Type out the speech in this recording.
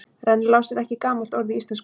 Rennilás er ekki gamalt orð í íslensku.